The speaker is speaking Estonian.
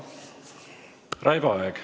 Raivo Aeg.